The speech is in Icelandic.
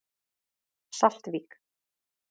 Saltvík